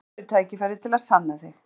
En núna færðu tækifæri til að sanna þig.